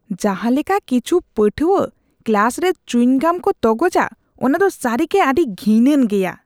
ᱡᱟᱦᱟᱸ ᱞᱮᱠᱟ ᱠᱤᱪᱷᱩ ᱯᱟᱹᱴᱷᱩᱣᱟᱹ ᱠᱞᱟᱥ ᱨᱮ ᱪᱩᱭᱤᱝ ᱜᱟᱢ ᱠᱚ ᱛᱚᱜᱚᱡᱟ ᱚᱱᱟ ᱫᱚ ᱥᱟᱹᱨᱤᱜᱮ ᱟᱹᱰᱤ ᱜᱷᱤᱱᱟᱱ ᱜᱮᱭᱟ ᱾